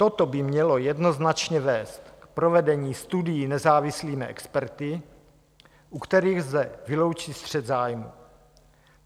Toto by mělo jednoznačně vést k provedení studií nezávislými experty, u kterých lze vyloučit střet zájmů.